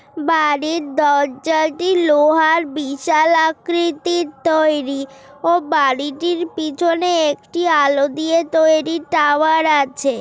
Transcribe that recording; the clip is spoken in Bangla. বাড়ির দরজাটি লোহার বিশালাকৃতির তৈরি। ও বাড়িটির পিছনে একটি আলো দিয়ে তৈরি টাওয়ার আছে ।